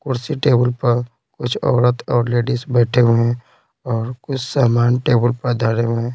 कुर्सी टेबुल पर कुछ औरत और लेडीज बैठे हुए हैं और कुछ सामान टेबल पर धड़े हुए हैं।